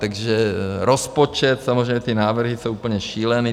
Takže rozpočet - samozřejmě ty návrhy jsou úplně šílené.